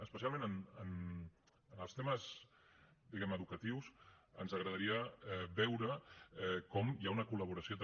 especialment en els temes diguem ne educatius ens agradaria veure com hi ha una col·laboració també